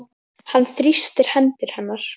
Hann þrýstir hendur hennar.